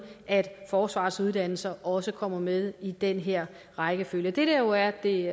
at forsvarets uddannelser også kommer med i den her rækkefølge det der jo er det